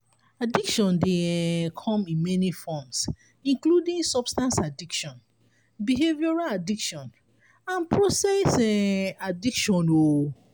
addiction dey um come in many forms including substance addiction behavioral addiction and process um addiction. um